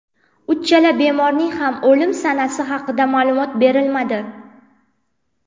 Uchala bemorning ham o‘lim sanasi haqida ma’lumot berilmadi.